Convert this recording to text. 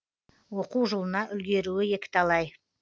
оқу жылына үлгеруі екіталай